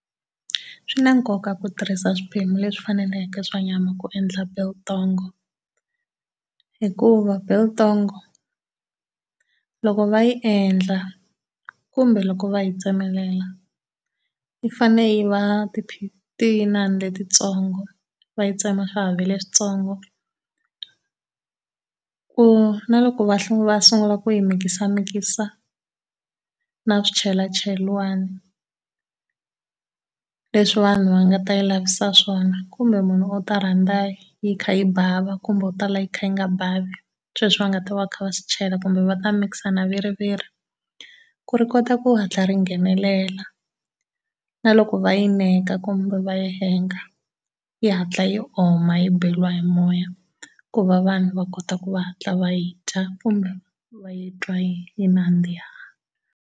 Swi na nkoka ku tirhisa swiphemu leswi faneleke swa nyama ku endla biltong hikuva biltong loko va yi endla kumbe loko va yi tsemelela yi fanele yi va ti inani letitsongo. Va yi tsema leswitsongo, ku na loko va va sungula ku yi mikisamikisa na swichelachelana leswi vanhu va nga ta yi lavisa swona kumbe munhu u ta rhandza yi kha yi bava kumbe u ta lava yi kha yi nga bavi sweswi va nga ta va va kha va swi chela kumbe va ta mixer na viriviri ku ri kota ku hatla ri nghenelala. Na loko va yi neka kumbe va yi hanger yi hatla yi oma yi beriwa hi moya ku va vanhu va kota ku va hatla va yi dya kumbe va yi twa yi nandziha.